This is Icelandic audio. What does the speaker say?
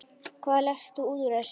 Hvað lest þú út úr þessu?